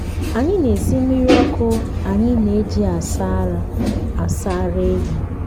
anyị na-esi mmiri ọkụ anyị na-eji asa ara asa ara ehi.